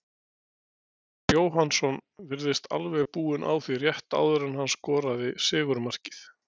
Garðar Jóhannsson virtist alveg búinn á því rétt áður en hann skoraði sigurmarkið.